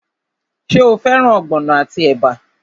Ṣé o fẹ́ràn ogbono àti ẹ̀bà?